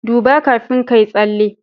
duba kafin kayi tsalle